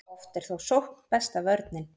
oft er þó sókn besta vörnin